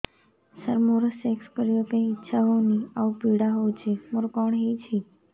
ସାର ମୋର ସେକ୍ସ କରିବା ପାଇଁ ଇଚ୍ଛା ହଉନି ଆଉ ପୀଡା ହଉଚି ମୋର କଣ ହେଇଛି